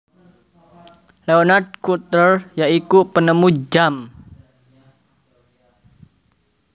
Leonard Cutler ya iku penemu jam